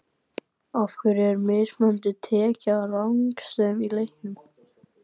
Af hverju er mismunandi tekið á rangstöðu í leikjum?